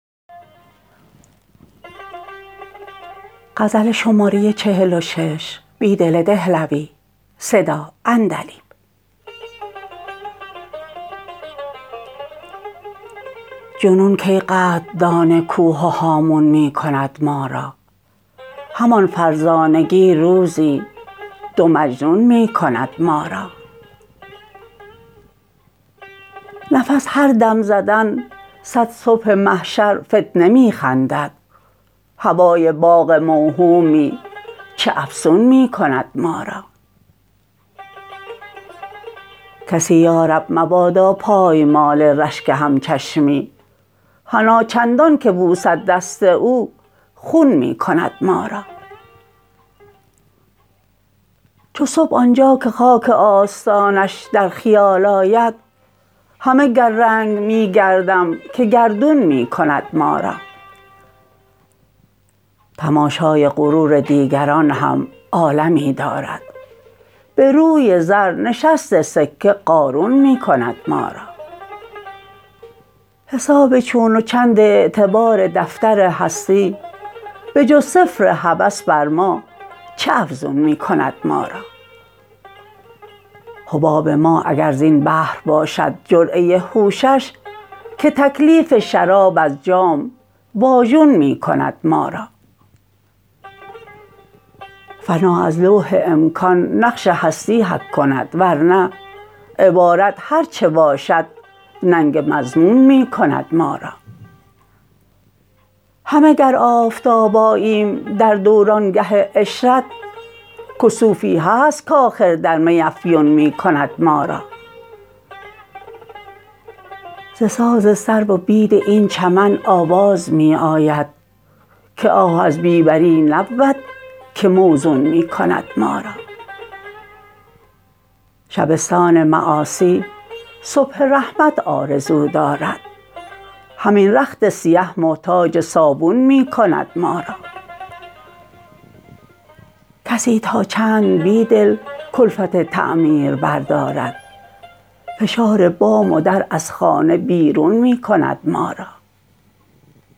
جنون کی قدردان کوه و هامون می کند ما را همان فرزانگی روزی دو مجنون می کند ما را نفس هر دم زدن صد صبح محشر فتنه می خندد هوای باغ موهومی چه افسون می کند ما را کسی یا رب مبادا پایمال رشک همچشمی حنا چندان که بوسد دست او خون می کند ما را چو صبح آنجا که خاک آستانش در خیال آید همه گر رنگ می گردم که گردون می کند ما را تماشای غرور دیگران هم عالمی دارد به روی زر نشست سکه قارون می کند ما را حساب چون و چند اعتبار دفتر هستی به جز صفر هوس بر ما چه افزون می کند ما را حباب ما اگر زین بحر باشد جرعه هوشش که تکلیف شراب از جام واژون می کند ما را فنا از لوح امکان نقش هستی حک کند ورنه عبارت هرچه باشد ننگ مضمون می کند مارا همه گر آفتاب آییم در دورانگه عشرت کسوفی هست کآخر در می افیون می کند ما را ز ساز سرو و بید این چمن آواز می آید که آه از بی بری نبود که موزون می کند ما را شبستان معاصی صبح رحمت آرزو دارد همین رخت سیه محتاج صابون می کند ما را کسی تا چند بیدل کلفت تعمیر بردارد فشار بام و در از خانه بیرون می کند ما را